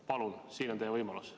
Palun, siin on teie võimalus.